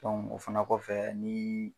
o fana kɔfɛ nii